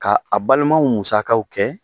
Ka a balimaw musakaw kɛ